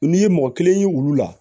N'i ye mɔgɔ kelen ye olu la